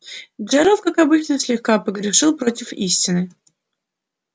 джералд как обычно слегка погрешил против истины